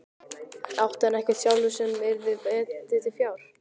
Átti hann ekkert sjálfur sem ekki yrði metið til fjár?